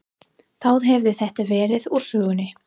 Þá hefði þetta verið úr sögunni.